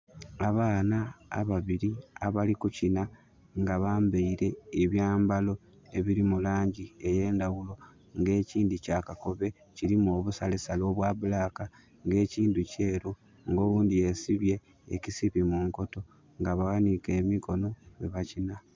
Abaana ababiri abali kukinha nga bambaire ebyambalo ebiri mu langi ey'endawulo, nga ekindhi kya kakobe kirimu obusalesale obwa bulaaka, nga ekindhi kyeru nga oghundhi yesibye ekisipi mu nkoto. Nga baghanike emikono bwebakinha